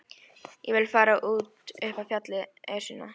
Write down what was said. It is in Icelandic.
Ég vil fara út upp á fjallið, Esjuna.